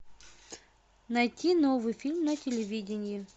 найти новый фильм на телевидении